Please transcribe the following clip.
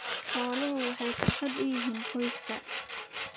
Xooluhu waxay farxad u yihiin qoyska.